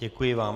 Děkuji vám.